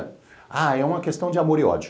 Ah, é uma questão de amor e ódio.